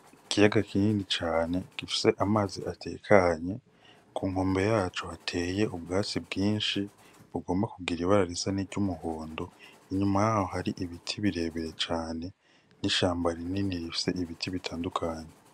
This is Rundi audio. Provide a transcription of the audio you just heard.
Kiyaga kinini cane gifise amazi atekanye ku nkombe yaco hateye ubwatsi bwinshi bugomba kugira ibara risa niry'umuhondo inyuma haho hari ibiti birebere cane n'ishamba rinini rifise ibiti bitandukanye.